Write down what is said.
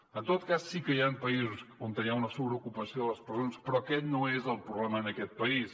en tot cas sí que hi han països on hi ha una sobreocupació de les presons però aquest no és el problema en aquest país